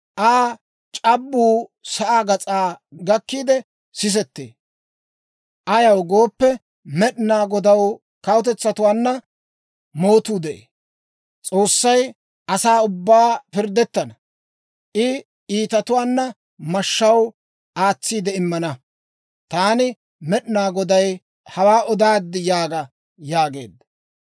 Aa c'abbuu sa'aa gas'aa gakkiide sisettee. Ayaw gooppe, Med'inaa Godaw kawutetsatuwaanna mootuu de'ee. S'oossay asaa ubbaanna pirddettana; I iitatuwaa mashshaw aatsiide immana. Taani Med'inaa Goday hawaa odaad yaaga» yaageedda.